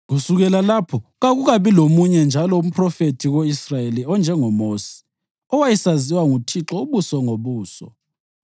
Kusukela lapho, kakukabi lomunye njalo umphrofethi ko-Israyeli onjengoMosi, owayesaziwa nguThixo ubuso ngobuso,